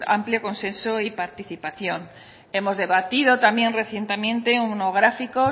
amplio consenso y participación hemos debatido también recientemente un monográfico